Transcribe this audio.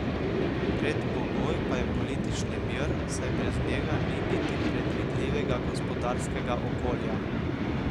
Predpogoj pa je politični mir, saj brez njega ni niti predvidljivega gospodarskega okolja.